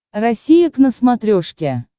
россия к на смотрешке